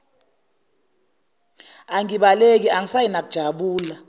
angibaleki angisayi nakujabu